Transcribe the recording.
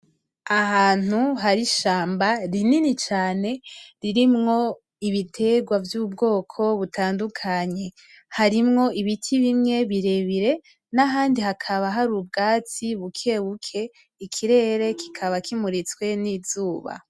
Ahantu hari ishamba rinini cane ririmwo ibiterwa vy'ubwoko butandukanye harimwo ibiti bimwe birebire n'ahandi hakaba hari ubwatsi buke buke, Ikirere kikaba kimuritswe n'izuba.